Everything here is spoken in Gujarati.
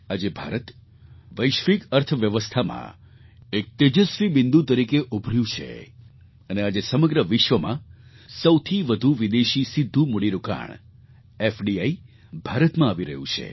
આજે ભારત વૈશ્વિક અર્થવ્યવસ્થામાં એક તેજસ્વી બિંદુ તરીકે ઉભર્યું છે અને આજે સમગ્ર વિશ્વમાં સૌથી વધુ વિદેશી સીધું મૂડીરોકાણ એફડીઆઇ ભારતમાં આવી રહ્યું છે